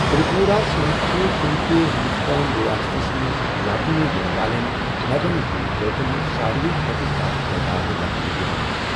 تِرٛپوٗراہس منٛز چھِ کُنہِ تہِ ہِنٛدُستٲنہ، رِیاستس منٛز لبنہٕ ینہٕ والیٚن نوین زوٗوٕ زٲژن ہِٗنٛد سارِوٕے کھۄتہٕ زیادٕ تعداد لبنہٕ یِوان۔